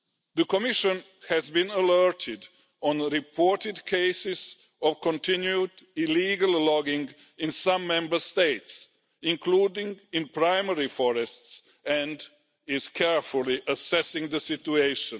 The Commission has been alerted to reported cases of continued illegal logging in some Member States, including in primary forests, and is carefully assessing the situation.